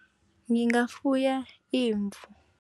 Ngingafuya imvu.